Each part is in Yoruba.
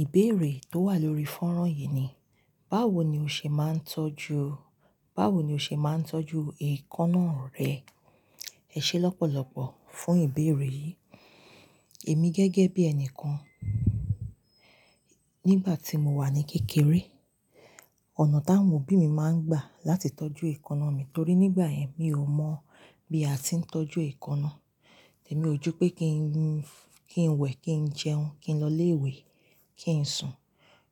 Ìbéèrè tó wà lórí fọ́nrán yìí ni, báwo ni o ṣe máa ń tọ́jú, báwo ni o ṣe máa ń tọ́jú èékánná rẹ? Ẹ ṣé lọ́pọ̀lọ́pọ̀ fún ìbéèrè yìí. Èmi gẹ́gẹ́ bí ẹni kan, nígbà tí mo wà ní kékeré, ọ̀nà táwọn òbí mi máa ń gbà láti tọ́jú èékánná mi torí nígbà yẹn mi ò mọ̀ bí a ti ń tọ́jú èékánná. Tèmi ojú pé kí n, kí n wẹ̀, kí n jẹun, kí n lọ ilé ìwé, kí n sùn.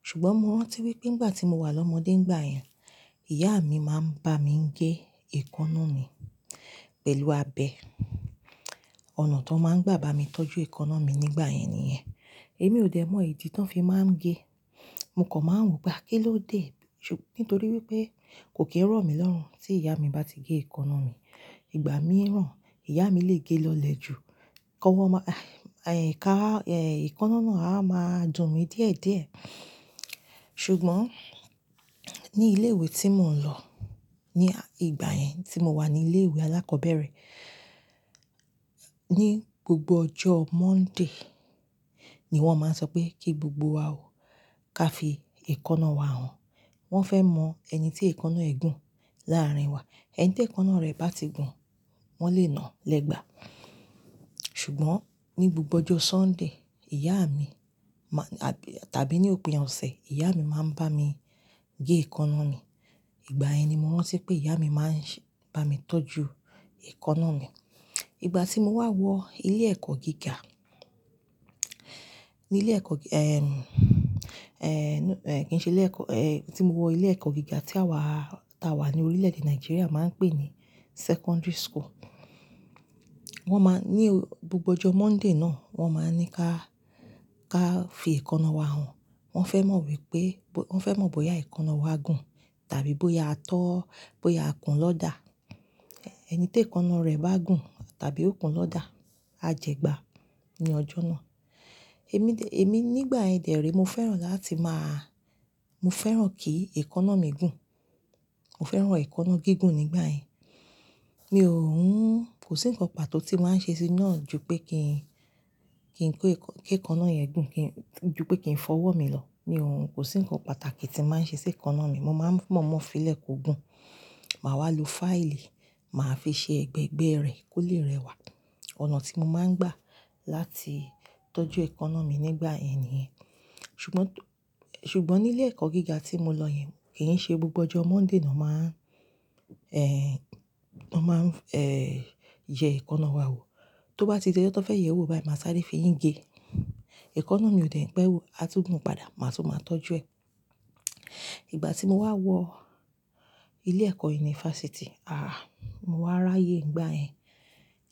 Ṣùgbọ́n mo rántí wí pé nígbà tí mo wà lọ́mọdé nígbà yẹn, ìyá mi máa ń bá mi gé èékánná mi pẹ̀lú abẹ. Ọ̀nà tó máa ń gbà bá mi tọ́jú èékánná mi nígbà yẹn nìyẹn. Èmi ò dè mọ ìdí tí wọ́n fi máa ń gé. Mo kàn máa ń wo pe à kíló dé? Nítorí wí pé kò kí ń rọ̀ mí lọ́run tí ìyá mi bá ti gé èékánná mi. Ìgbà mí ràn, ìyá mi lè gé é lọlẹ̀ jù. Kọ́wọ́ máa, èéh, ká, èéh, èékánná náà á máa dùn mí díẹ̀díẹ̀. Ṣùgbọ́n ní ilé ìwé tí mò ń lọ ní ìgbà yẹn tí mo wà ní ilé ìwé alákọ̀ọ́bẹ̀rẹ̀, ní gbogbo ọjọ́ Monday ni wọ́n máa ń sọ pé kí gbogbo wa ó ká fi èékánná wa hàn. Wọ́n fẹ́ mọ ẹni tí èékánná ẹ̀ gùn láàárín wa. Ẹni tí èékánná rẹ bá ti gùn, wọ́n lè na légbà. Ṣùgbọ́n ní gbogbo ọjọ́ Sunday, ìyá mi máa-- tàbí ní òpin ọ̀sẹ̀, ìyá mi máa ń bá mi gé èékánná mi. Ìgbà yẹn ni mo rántí pé ìyá mi máa ń ṣe, bá mi tọ́jú èékánná mi. Ìgbà tí mo wá wọ ilé ẹ̀kọ́ gíga, ní ilé ẹ̀kọ́, ẹ́m, ẹ́, kí i ṣe ilé ẹ̀kọ́, ẹ́, tí mo wọ ilé ẹ̀kọ́ gíga tí àwa táa wà ní orílẹ̀-èdè Nàìjíríà máa ń pè ní secondary school. Wọ́n máa ní gbogbo ọjọ́ Monday náà, wọ́n máa ń ní ká, ká fi èékánná wa hàn. Wọ́n fẹ́ mọ wípé, wọ́n fẹ́ mọ bóyá èékánná wa gùn tàbí bóyá a tó, bóyá a kùn lọ́dà. Ẹni tí èékánná rẹ̀ bá gùn tàbí ó kùn lọ́dà, á jẹgbà ní ọjọ́ náà. Èmi dè, èmi nígbà yẹn dè érè, mo fẹ́ràn láti máa-- mo fẹ́ràn kí èékánná mi gùn. Mo fẹ́ràn èékánná gígùn nígbà yẹn. Mi ò ń-- kò sí nǹkan pàtó tí màá ń ṣe sí iná ju pé kí n, kí n kó èékánná yẹn gùn kí, ju pé kí n fọwọ́ mi lọ. Mi ò ń, kò sí nǹkan pàtàkì tí màá ń ṣe sí èékánná mi. Mo máa ń momo fílẹ̀ kó gùn. Màá wá lo fáìlì, màá fi ṣe ẹgbẹ́gbẹ́ rẹ̀ kó lè rẹwà. Ọ̀nà tí mo máa ń gbà láti tọ́jú èékánná mi nígbà yẹn nìyẹn. Ṣùgbọ́n, ṣùgbọ́n ní ilé ẹ̀kọ́ gíga tí mo lọ yẹn, kì í ṣe gbogbo ọjọ́ Monday ni wọ́n máa ń, ẹ́, wọ́n máa ń, ẹ́, yẹ èékánná wa wò. Tó bá ti di ọjọ́ tan fẹ́ yẹ̀ ẹ́ wò bai, màá sáré feyìǹ gé. Èékánná mi ò dè n pẹ́ wu, a tún gùn padà, màá tún máa tọ́jú ẹ. Ìgbà tí mo wá wọ ilé ẹ̀kọ́ yunifásítì, aà, mo wá ráyè nígbà yẹn.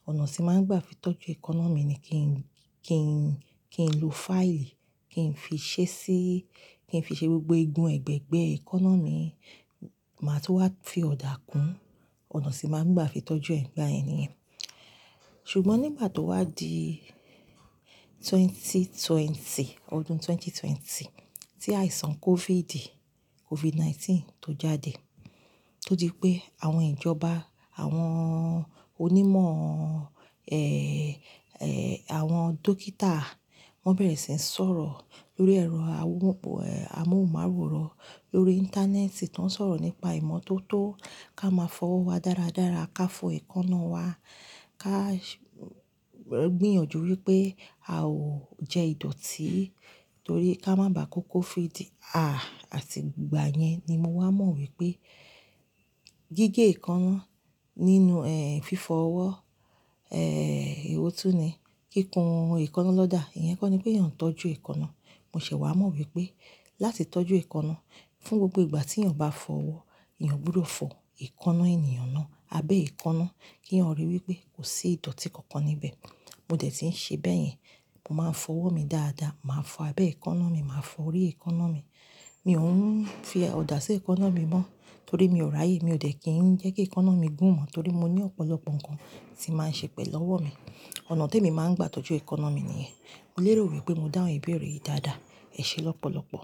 Ọ̀nà tí màá ń gbà fi tọ́jú èékánná mi ni kí n, kí n, kí n lo fáìlì, kí n fi ṣẹ́ ṣí, kí n fi ṣe gbogbo igun ẹ̀gbẹ́ ẹgbẹ́ èékánná mi, màá tún wá fi ọ̀dà kùn. Ọ̀nà tí màá ń gbà fi tọ́jú ẹ́ nígbà yẹn nìyẹn. Ṣùgbọ́n nígbà tó wá di ẹgbẹ̀rún méjì ó lé ogún, ọdún ẹgbẹ̀rún méjì ó lé ogún tí àìsàn COVID, COVID-19 tó jáde, tó di pé àwọn ìjọba, àwọn onímọ̀, ẹ́, ẹ́, àwọn dókítà, wọ́n bẹ̀rẹ̀ sí ń sọ̀rọ̀ lórí ẹ̀rọ amóhùnmáwòrán, lórí íńtánẹ́ẹ̀tì tó ń sọ̀rọ̀ nípa ìmọ́tótó ká máa fọwọ́ wa dáradára, ká fọ èékánná wa, ká gbìyànjú wí pé a ò jẹ ìdọ̀tí torí ká má bá kó COVID. Aà, àti ìgbà yẹn ni mo wá mọ̀ wípé gígé èékánná nínú, ẹ́, fífo owó, ẹ́, ewọ̀ tú ni? Kíkun èékánná lọ́dà, ìyẹn kọ́ ni pèèyàn ń tọ́jú èékánná. Mo ṣẹ̀ wá mọ̀ wípé láti tọ́jú èékánná, fún gbogbo ìgbà tí èèyàn bá fọ owó, èèyàn gbọdọ̀ fọ èékánná ènìyàn náà, abẹ́ èékánná keyan ríi wí pé kò sí ìdọ̀tí kankan níbẹ̀. Mo dẹ̀ tí ń ṣe bẹ́ẹ̀ yẹn. Mo máa ń fọ owó mi dáadáa, màá fọ abẹ́ èékánná mi, màá fọ orí èékánná mi. Mi ò ń fi ọ̀dà sí èékánná mi mọ́ torí mi ò ráyè. Mi ò dẹ̀ kí ń jẹ́ kí èékánná mi gùn mọ́ torí mo ní ọ̀pọ̀lọpọ̀ nǹkan tí màá ń ṣe pẹ̀lú ọwọ́ mi. Ọ̀nà tó èmi máa ń gbà tọ́jú èékánná mi nìyẹn. Mo lérò wípé mo dáhùn ìbéèrè yìí dáadáa. Ẹ ṣé lọ́pọ̀lọ́pọ̀.